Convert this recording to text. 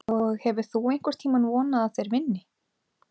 Og hefur þú einhvern tímann vonað að þeir vinni?